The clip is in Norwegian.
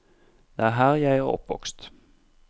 Det er her jeg er oppvokst.